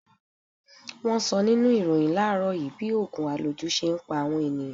Wọn sọ nínú ìròhìn láàrọ́ yìí bí ogun aloju ṣe ń pa àwọn ènìyàn.